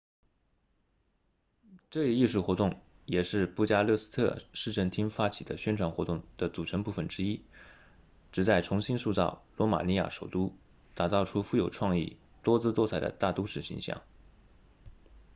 这一艺术活动也是布加勒斯特市政厅发起的宣传活动的组成部分之一旨在重新塑造罗马尼亚首都打造出富有创意多姿多彩的大都市形象